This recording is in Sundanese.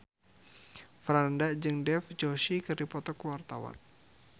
Franda jeung Dev Joshi keur dipoto ku wartawan